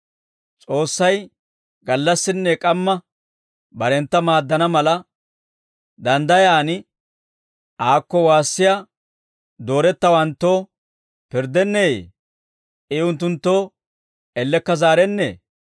S'oossay gallassinne k'amma barentta maaddana mala, danddayaan aakko waassiyaa doorettawanttoo pirddenneeyye? I unttunttoo ellekka zaarennee?